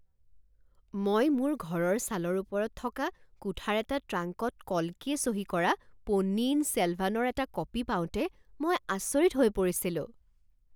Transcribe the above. মই মোৰ ঘৰৰ চালৰ ওপৰত থকা কোঠাৰ এটা ট্ৰাংকত কল্কিয়ে চহী কৰা পোন্নিয়িন ছেলভানৰ এটা কপি পাওঁতে মই আচৰিত হৈ পৰিছিলো !